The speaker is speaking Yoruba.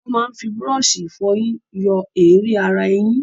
Wọ́n máa ń fi búrọ́ọ̀ṣì ìfọyín yọ èérí ara eyín.